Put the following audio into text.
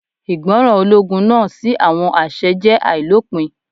Ìgbọràn ológun náà sí àwọn àṣẹ jẹ́ àìlópin.